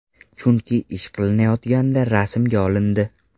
Chunki ish qilinayotganda rasmga olindi.